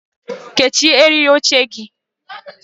Kechie eriri oche gị!